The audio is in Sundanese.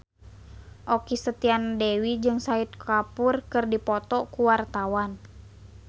Okky Setiana Dewi jeung Shahid Kapoor keur dipoto ku wartawan